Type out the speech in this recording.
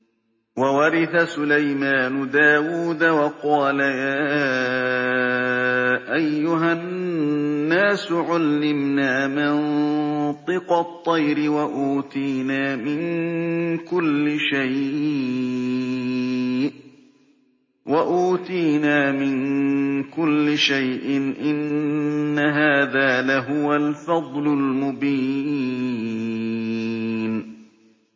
وَوَرِثَ سُلَيْمَانُ دَاوُودَ ۖ وَقَالَ يَا أَيُّهَا النَّاسُ عُلِّمْنَا مَنطِقَ الطَّيْرِ وَأُوتِينَا مِن كُلِّ شَيْءٍ ۖ إِنَّ هَٰذَا لَهُوَ الْفَضْلُ الْمُبِينُ